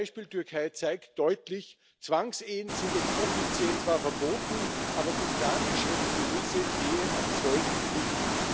Das Beispiel Türkei zeigt deutlich Zwangsehen sind dort offiziell zwar verboten, aber die islamisch religiöse Ehe ab zwölf nicht.